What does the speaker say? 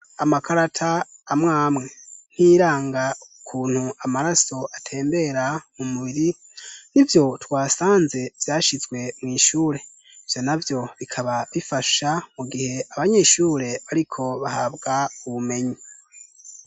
Amakarata amwamwe. Nk'iyiranga ukuntu amaraso atembera mu mubiri, nivyo twasanze vyashizwe mw'ishure. Ivyo navyo bikaba bifasha mu gihe abanyeshure bariko bahabwa ubumenyi.